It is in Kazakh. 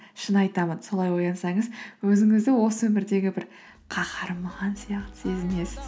шын айтамын солай оянсаңыз өзіңізді осы өмірдегі бір қаһарман сияқты сезінесіз